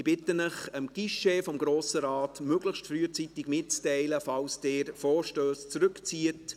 Ich bitte Sie, dem Guichet des Grossen Rates möglichst frühzeitig mitzuteilen, wenn Sie Vorstösse zurückziehen.